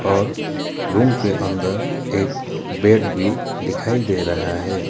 और रूम के अंदर एक बेड भी दिखाई दे रहा है।